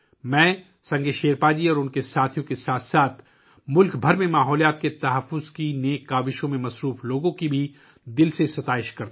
سنگے شیرپا جی اور ان کے ساتھیوں کے ساتھ ساتھ میں ان لوگوں کی بھی تہہ دل سے تعریف کرتا ہوں ، جو پورے ملک میں ماحولیاتی تحفظ کی عظیم کوشش میں مصروف ہیں